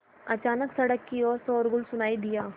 अचानक सड़क की ओर शोरगुल सुनाई दिया